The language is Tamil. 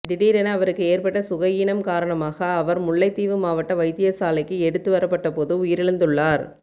திடீரென அவருக்கு ஏற்பட்ட சுகயீனம் காரணமாக அவர் முல்லைத்தீவு மாவட்ட வைத்தியசாலைக்கு எடுத்துவரப்பட்டபோது உயிரிழந்துள்ளார்